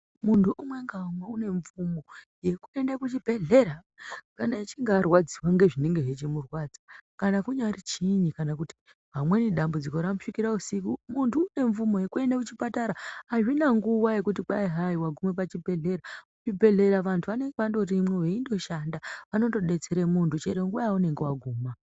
Muntu umwe ngaumwe unemvumo yekuenda kuchibhedhlera kana echinge arwadziva nezvinenge zvichimurwadza. Kana kunyari chiini kana kuti vamweni dzambudziko rakusvikira usiku muntu unemvumo yekuenda kuchipatara hazvina nguva yekuti kwai hai vanguma pachibhedhlera. Kuchibhedhlera vantu vanenge vangorimo veindoshanda vanondobetsere muntu cheronguva yaunenge vaguma.